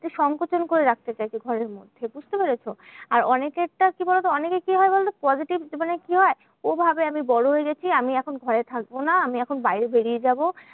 সংকোচন করে রাখতে চাইছে ঘরের মধ্যে, বুঝতে পারছো? আর অনেকেরটা কি বলোতো? অনেকে কি হয় বলতো? positive কি হয়? ও ভাবে আমি বড় হয়ে গেছি আমি এখন ঘরে থাকবো না। আমি এখন বাইরে বেরিয়ে যাবো।